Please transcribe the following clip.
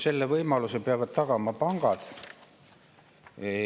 Selle võimaluse peavad tagama pangad.